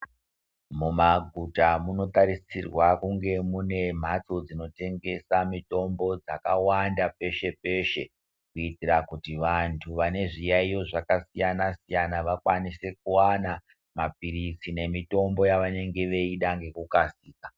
Mumaguta munotarisirwa kunge mune mhatso dzimhatso dzinotengesa mutombo dzakawanda peshe peshe kuitira kuti vantu vane zviyaiyo zvakasiyana siyana vakwanise kuwana mapirizi nemutombo yavanenge veida nekukasira.